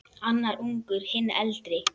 Annar ungur, hinn eldri.